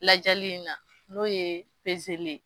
Lajali in na n'o ye